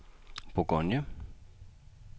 Bourgogne